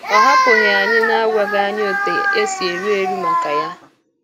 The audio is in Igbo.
Ọ hapụghị ányị n’ágwaghị ányị ótú è sí érú érú màká yá.